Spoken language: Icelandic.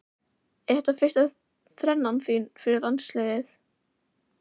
Er þetta fyrsta þrennan þín fyrir landsliðið?